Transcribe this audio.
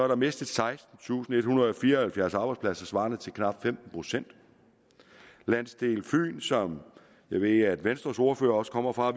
der mistet sekstentusinde og ethundrede og fireoghalvfjerds arbejdspladser svarende til knap femten procent landsdelen fyn som jeg ved at venstres ordfører også kommer fra